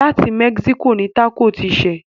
Láti Mexico ni tákò ti ṣẹ̀.